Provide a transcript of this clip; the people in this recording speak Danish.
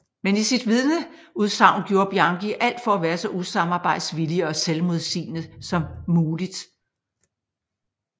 Men i sit vidneudsagn gjorde Bianchi alt for at være så usamarbejdsvillig og selvmodsigende så muligt